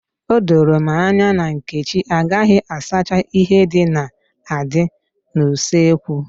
Odoro m anya na Nkechi agaghị asacha ihe ndị na-adị n'usekwu.